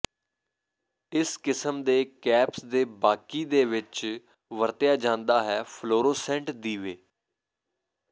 ਇਸ ਕਿਸਮ ਦੇ ਕੈਪਸ ਦੇ ਬਾਕੀ ਦੇ ਵਿੱਚ ਵਰਤਿਆ ਜਾਦਾ ਹੈ ਫਲੋਰੋਸੈੰਟ ਦੀਵੇ